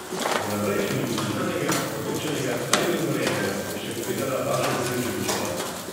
Za naprej še ni nič znanega, odločenega ali dogovorjenega, je še povedala Bašek Zildžovićeva.